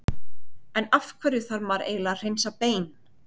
En af hverju þarf maður eiginlega að hreinsa bein?